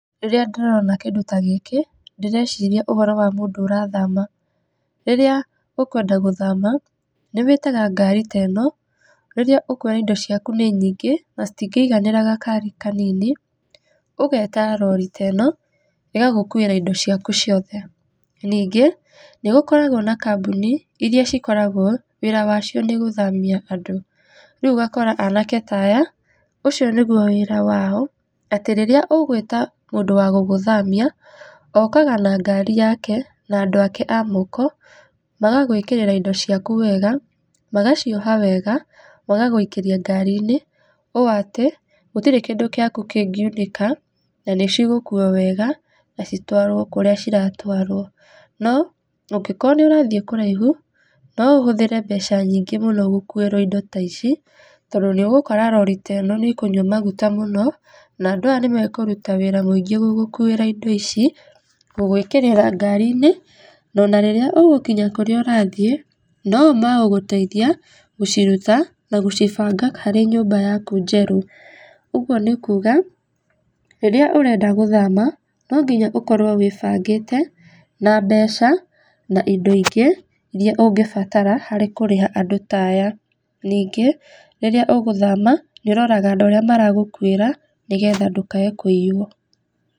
Rĩrĩa ndĩrona kĩndũ ta gĩkĩ ndĩreciria ũhoro wa mũndũ ũrathama. Rĩrĩa ũkwenda gũthama nĩ wĩtaga ngari ta ĩno, rĩrĩa ũkũona indo ciaku nĩ nyingĩ na citingĩiganĩra gakari kanini, ũgeta rori ta ĩno ĩgagũkũĩra indo ciaku ciothe. Ningĩ, nĩ gũkoragwo na kambuni iria cikoragwo wĩra wacio nĩ gũthamia andũ rĩu ũgakora anake ta aya, ũcio nĩgũo wĩra wao atĩ rĩrĩa ũgũĩta mũndũ wa gũgũthamia okaga na ngari yake na andũ ake a moko magagũĩkĩrĩra indo ciaku wega magacioha wega magagũikĩrĩa ngari-inĩ, ũũ atĩ gũtirĩ kĩndũ gĩaku kĩngiunĩka na nĩ cigũkũo wega na citwarwo kũrĩa ciratwarwo. No, ũngĩkorwo nĩ ũrathíĩ kũraihu, no ũhũthĩre mbeca nyingĩ mũno gũkũĩrwo indo ta ici tondũ nĩ ũgũkora rori ta ĩno nĩ ĩkũnywa maguta mũno na andũ aya nĩmekũruta wĩra mũingĩ mũno gũgũkũira indo ici gũgũĩkĩrĩra ngari-inĩ, na ona rĩrĩa ũgũkinya kũrĩa ũrathĩe no o megũgũteithia gũciruta na gũcibanga harĩ nyũmba yaku njerũ ũguo nĩ kuga rĩrĩa ũrenda gũthama no nginya ũkorwo wĩbangĩte na mbeca na indo ingĩ iria ũngĩbatara harĩ kũrĩha andũ ta aya. Ningĩ rĩrĩa ũgũthama nĩ ũroraga andũ aria maragũkũĩra nĩgetha ndũkae kuiywo.